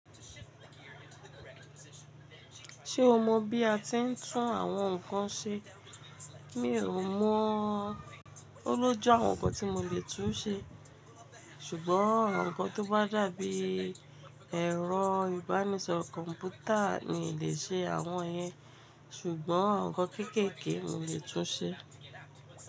Ṣé o mọ bí a ti ń tún àwọn nǹkan ṣe? Mi ò mọ, ó lójú àwọn nǹkan tí mo lè tún ṣe, ṣùgbọ́n àwọn nǹkan tó bá dàbí ẹ̀rọ ìbánisọ̀ro, kọ́mpútà mi lè ṣe àwọn yẹn, ṣùgbọ́n àwọn nǹkan kéékèèké mi lè tún ṣe.